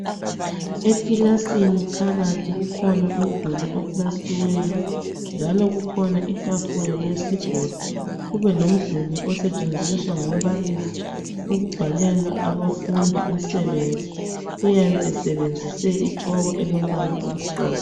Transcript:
Ekilasini phakathi kukhona umduli opulastiweyo njalo kukhona itafula yesigodo. Kube lomduli osetshenziswa ngumbalisi ukubhalela abafundi umsebenzi, uyabe esebenzise itshoko elombala omhlophe.